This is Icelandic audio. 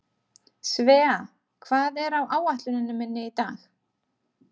Svea, hvað er á áætluninni minni í dag?